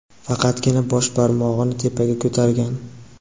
faqatgina bosh barmog‘ini tepaga ko‘targan.